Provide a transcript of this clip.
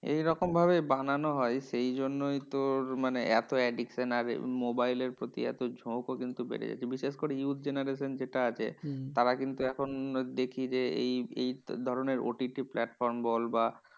এইরকম ভাবে বানানো হয় সেইজন্যই তোর মানে এত addiction আর মোবাইলের প্রতি এত ঝোঁকও কিন্তু বেড়ে যাচ্ছে। বিশেষ করে youth generation যেটা আছে, তারা কিন্তু এখন দেখি যে এই এই ধরণের OTT platform বল বা